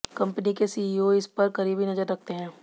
company के CEO इस पर करीबी नजर रखते हैं